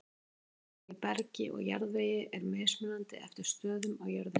Saltmagn í bergi og jarðvegi er mismunandi eftir stöðum á jörðinni.